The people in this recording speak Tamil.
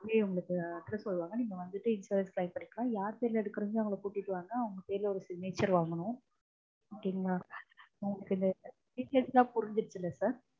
அங்கேய உங்களுக்கு address சொல்லுவாங்க. நீங்க வந்துட்டு insurance claim பண்ணிக்கலாம். யார் பேர்ல எடுக்கறீங்களோ அவங்கள கூட்டிட்டு வாங்க அவங்க பேர்ல ஒரு signature வாங்கனும். okay ங்களா? உங்களுக்கு இந்த details லாம் புரிஞ்சிருச்சுல்ல sir?